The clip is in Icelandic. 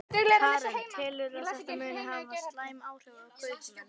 Karen: Telurðu að þetta muni hafa slæm áhrif á kaupmenn?